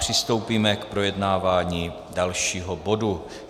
Přistoupíme k projednávání dalšího bodu.